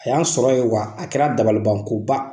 A y'an sɔrɔ yen wa a kɛra dabaliban koba.